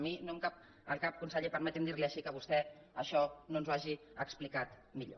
a mi no em cap al cap conseller permeti’m dir li ho així que vostè això no ens ho hagi explicat millor